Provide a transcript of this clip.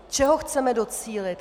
Čeho chceme docílit?